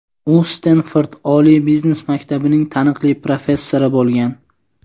u Stenford oliy biznes maktabining taniqli professori bo‘lgan.